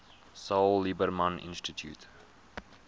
saul lieberman institute